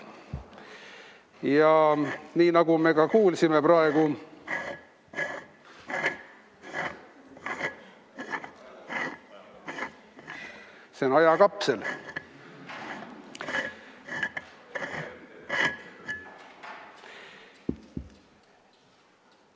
Ja nii, nagu me ka kuulsime praegu, see on ajakapsel.